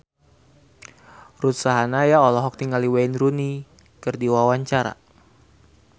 Ruth Sahanaya olohok ningali Wayne Rooney keur diwawancara